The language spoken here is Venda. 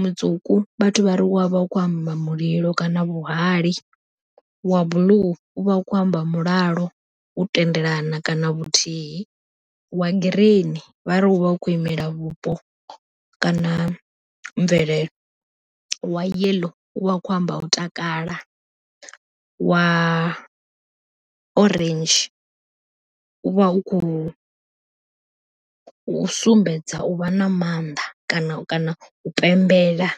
Mutswuku vhathu vhari wavha u kho amba mulilo kana vhuhali, wa buḽuu u vha u kho amba mulalo u tendelana kana vhuthihi, wa girini vha ri u vha u khou imela vhupo kana mvelele, wa yeḽo u vha u kho amba u takala, wa orange u vha u khou sumbedza u vha na mannḓa kana kana u pembela.